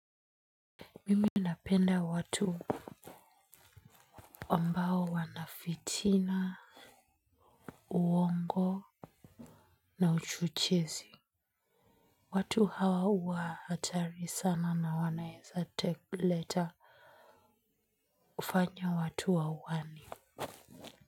Mimi napenda watu ambao hawana fitiana uongo na uchochezi watu hawa huwa hatari sana na wanaweza fanya watu wauane.